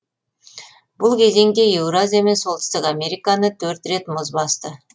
бұл кезеңде еуразия мен солтүстік американы төрт рет мұз басты